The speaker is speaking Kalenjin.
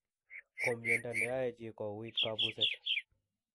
ko miondo ne yae chii kouit kapuset